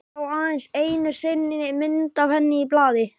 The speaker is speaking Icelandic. Sá aðeins einu sinni mynd af henni í blaði.